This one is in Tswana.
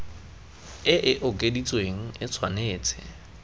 e e okeditsweng e tshwanetse